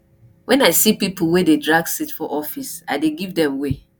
wen i see pipo wey dey drag seat for office i dey give dem way